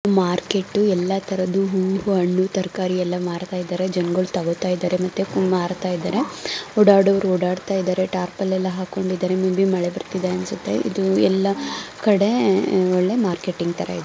Market ಎಲ್ಲ ತರದ ಹೂ ಹಣ್ಣು ತರಕಾರಿ ಎಲ್ಲ ಮಾರ್ತಾ ಇದರೇ ಜನ್ ಗಳು ತಗೋತಾ ಇದಾರೆ ಮತ್ತೆ ಮಾರ್ತಾ ಇದಾರೆ ಓಡಾಡವ್ರು ಓಡಾಡ್ತಾ ಇದಾರೆ ಟಾರ್ಪಲ್ ಎಲ್ಲ ಹಾಕೊಂಡ್ ಇದಾರೆ ಮುಂದೆ ಮಳೆ ಬರ್ತಾಇದೇ ಅನ್ಸುತ್ತೆ ಎಲ್ಲ ಕಡೆ ಒಳ್ಳ್ಳೆ ಮಾರ್ಕೆಟಿಂಗ್ ತರ ಇದೆ .